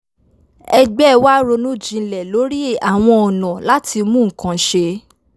ẹgbẹ́ wa ronú jinlẹ̀ lórí àwọn ọ̀nà láti mú nǹkan ṣe